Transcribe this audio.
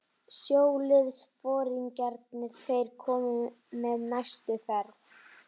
Sjóliðsforingjarnir tveir komu með næstu ferð.